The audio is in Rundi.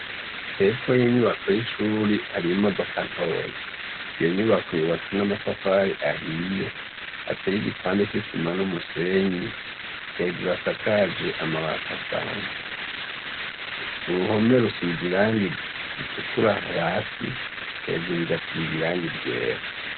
Hepfo y'inyubako y'ishuri hari imodoka ntoyi, iyo nyubako yubatse n'amatafari ahiye ateye igipande c'isima n'umusenyi hejuru asakaje amabati asanzwe, uruhome rusize irangi ritukura hasi hejuru rigasiga irangi ryera.